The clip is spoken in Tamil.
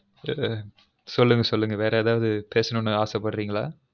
சொல்லுங்க சொல்லுங்க வெர ஏதாவது பேசனும்னு அசைபட்ரிங்கலா